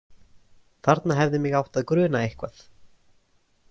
Þarna hefði mig átt að gruna eitthvað.